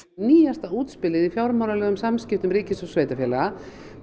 nýjasta útspilið í fjármálalegum samskiptum milli ríkis og sveitarfélaga